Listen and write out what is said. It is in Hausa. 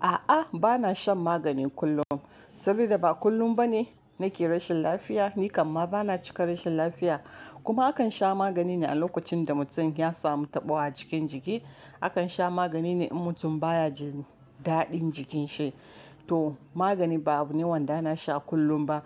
A'a, bana shan magani kullum saboda ba kullum bane nake rashin lafiya, ni kamma bana cika rashin lafiya. Kuma akan sha magani ne a lokacin da mutum ya samu taɓawa a cikin jiki. Akan sha magani ne in mutum baya jin daɗin jikin shi. To magani ba abu ne wanda na sha kullum ba.